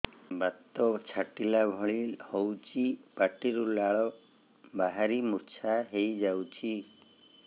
ବାତ ଛାଟିଲା ଭଳି ହଉଚି ପାଟିରୁ ଲାଳ ବାହାରି ମୁର୍ଚ୍ଛା ହେଇଯାଉଛି